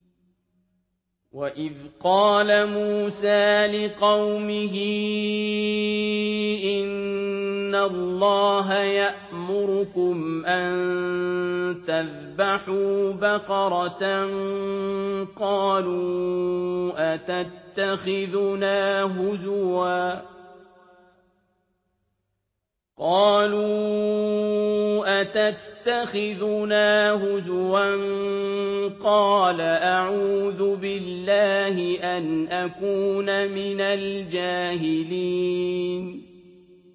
وَإِذْ قَالَ مُوسَىٰ لِقَوْمِهِ إِنَّ اللَّهَ يَأْمُرُكُمْ أَن تَذْبَحُوا بَقَرَةً ۖ قَالُوا أَتَتَّخِذُنَا هُزُوًا ۖ قَالَ أَعُوذُ بِاللَّهِ أَنْ أَكُونَ مِنَ الْجَاهِلِينَ